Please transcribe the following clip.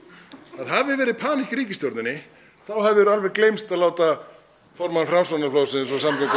að hafi verið panikk í ríkisstjórninni þá hefur alveg gleymst að láta formann Framsóknarflokksins og samgöngu